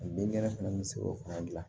Den kɛnɛ fana bɛ se k'o fana dilan